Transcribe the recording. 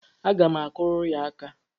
Aga m akụrụ ya aka.